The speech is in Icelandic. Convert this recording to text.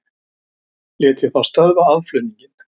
Lét ég þá stöðva aðflutninginn.